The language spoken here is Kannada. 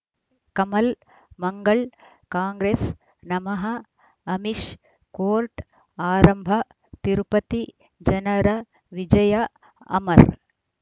ಕಮಲ್ ಮಂಗಳ್ ಕಾಂಗ್ರೆಸ್ ನಮಃ ಅಮಿಷ್ ಕೋರ್ಟ್ ಆರಂಭ ತಿರುಪತಿ ಜನರ ವಿಜಯ ಅಮರ್